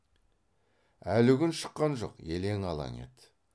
әлі күн шыққан жоқ елең алаң еді